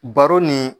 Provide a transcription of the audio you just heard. Baro ni